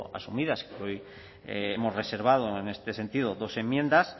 asumidas y que hoy hemos reservado en este sentido dos enmiendas